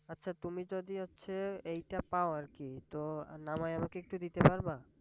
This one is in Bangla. আচ্ছা তুমি যদি হচ্ছে এইটা পাও আর কি তো নামায়ে আমাকে একটু দিতে পারবা?